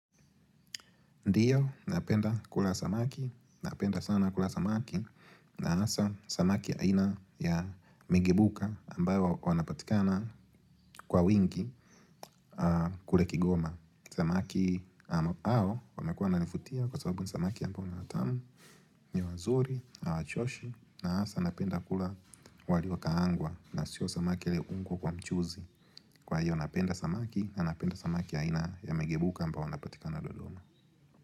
Ndiyo, napenda kula samaki, napenda sana kula samaki, na hasa samaki aina ya migebuka ambayo wanapatikana kwa wingi kule kigoma. Samaki hao, wamekua wananivutia kwa sababu ni samaki ambayo ni watamu, ni wazuri, hawa choshi, na hasa napenda kula walio kaangwa na sio samaki aliyewekwa kwa mchuzi. Kwa hiyo, napenda samaki, napenda samaki aina ya migebuka ambao wanapatikana dodoma.